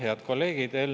Head kolleegid!